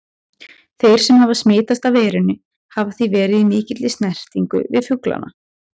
Þeir sem hafa smitast af veirunni hafa því verið í mikilli snertingu við fuglana.